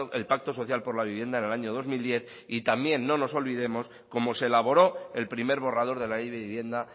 el pacto social por la vivienda en el año dos mil diez y también no nos olvidemos como se elaboró el primer borrador de la ley de vivienda